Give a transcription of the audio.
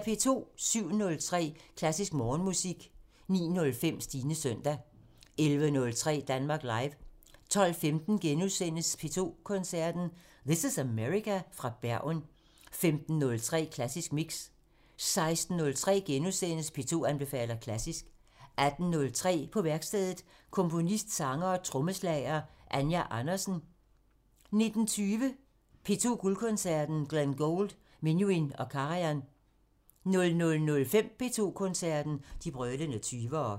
07:03: Klassisk Morgenmusik 09:05: Stines søndag 11:03: Danmark Live 12:15: P2 Koncerten – This is America?/! – fra Bergen * 15:03: Klassisk Mix 16:03: P2 anbefaler klassisk * 18:03: På værkstedet – Komponist, sanger og trommeslager Anja Andersen 19:20: P2 Guldkoncerten – Glenn Gould, Menuhin og Karajan 00:05: P2 Koncerten – De brølende 20'ere